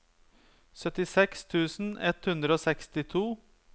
syttiseks tusen ett hundre og sekstito